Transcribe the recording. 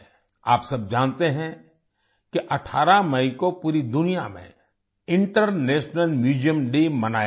आप सब जानते हैं कि 18 मई को पूरी दुनिया में इंटरनेशनल म्यूजियम डे मनाया जाएगा